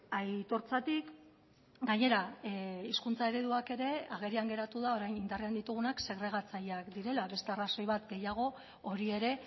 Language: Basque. aitortzatik gainera hizkuntza ereduak ere agerian geratu da orain indarrean ditugunak segregatzaileak direla beste arrazoi bat gehiago hori ere